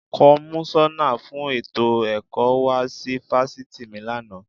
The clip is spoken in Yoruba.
Kọmísọ́nà fún ètò ẹ̀kọ́ wá sí Fásitì mi lánàá.